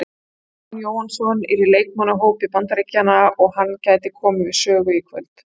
Aron Jóhannsson er í leikmannahópi Bandaríkjanna og hann gæti komið við sögu í kvöld.